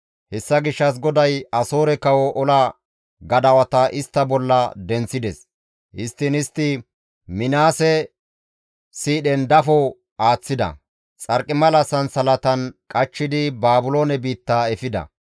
Hessa gishshas GODAY Asoore kawo ola gadawata istta bolla denththides; histtiin istti Minaase siidhen dafo aaththida; xarqimala sansalatan qachchidi Baabiloone biitta efida.